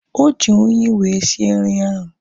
Oji unyi wee sie nri ahu